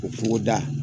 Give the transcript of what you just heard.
O kungoda